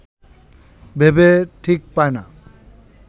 ভেবে ঠিক পায় না